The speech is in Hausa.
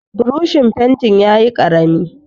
Burushin fentin yayi ƙarami.